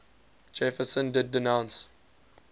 jefferson did denounce